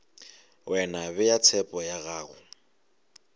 wena bea tshepo ya gago